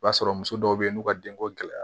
I b'a sɔrɔ muso dɔw be yen n'u ka denko gɛlɛya